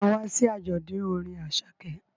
Ṣé o ma wá sí àjọ̀dún orin Àṣàkẹ́?